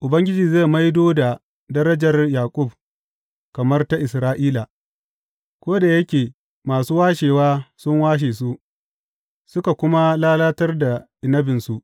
Ubangiji zai maido da darajar Yaƙub, kamar ta Isra’ila, ko da yake masu washewa sun washe su suka kuma lalatar da inabinsu.